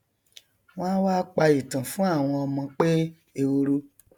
wọn a wá pa ìtàn fún àwọn ọmọ pé ehoro